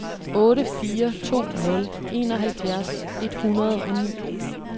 otte fire to nul enoghalvfjerds et hundrede og ni